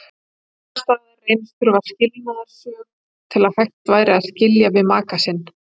Annars staðar reynist þurfa skilnaðarsök til að hægt væri að skilja við maka sinn.